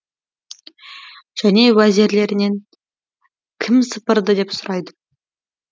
және уәзірлерінен кім сыпырды деп сұрайды